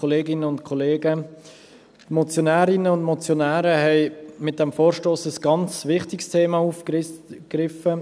Die Motionärinnen und Motionäre haben mit diesem Vorstoss ein ganz wichtiges Thema aufgegriffen.